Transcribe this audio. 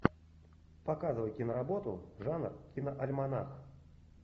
показывай киноработу жанр киноальманах